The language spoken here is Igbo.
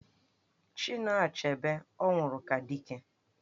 Chinua Achebe ọ nwụrụ ka Dike?